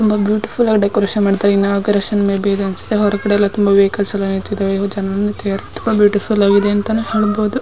ತುಂಬಾ ಬ್ಯೂಟಿಫುಲ್ ಆಗಿ ಡೆಕೋರೇಷನ್ ಮಾಡ್ತಾ ಇದ್ದಾರೆ. ಬೆಳಗ್ಗೆ ಎಲ್ಲ ತುಂಬಾ ವೆಹಿಕಲ್ಸ್ ನಿಂತಿದ್ದಾರೆ. ಬ್ಯೂಟಿಫುಲ್ ಆಗಿದೆ ಅಂತಾನೆ ಹೇಳಬಹುದು.